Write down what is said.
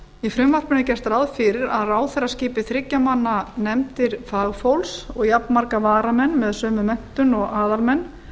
í frumvarpinu er gert ráð fyrir að ráðherra skipi þriggja manna nefndir fagfólks og jafnmarga varamenn með sömu menntun og aðalmenn